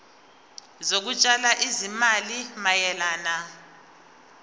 zokutshala izimali mayelana